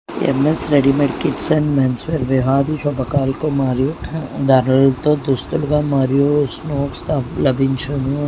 ఎమ్మె_స్ readymade kids and men's wear విహారి శుభ కార్యక్రమం మరియు ధరలతో దుస్తులుగా మరియు స్పోర్ట్స్ లభించును.